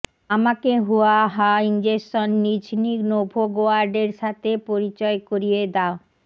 আমাকে হুয়াহা ইনজেকশন নিঝনি নোভোগোয়ার্ডের সাথে পরিচয় করিয়ে দাও